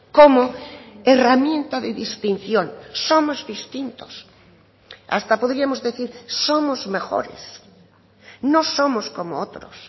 como herramienta de distinción somos distintos hasta podríamos decir somos mejores no somos como otros